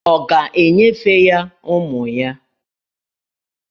Ọ̀ ga-enyefe ya ụmụ ya?